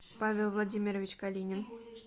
павел владимирович калинин